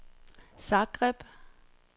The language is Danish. Zagreb